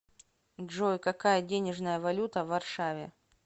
джой какая денежная валюта в варшаве